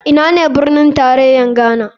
Ina ne birnin tarayar ghana?